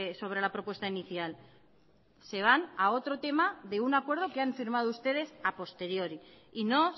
sobre la propuesta inicial se van a otro tema de un acuerdo que han firmado ustedes a posteriori y no